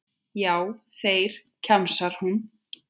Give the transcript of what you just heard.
Já, þeir, kjamsar hún.